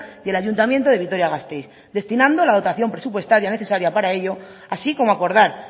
y el ayuntamiento de vitoria gasteiz destinando la dotación presupuestaria necesaria para ello así como acordar